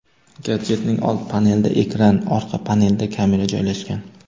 Gadjetning old panelida ekran, orqa panelida kamera joylashgan.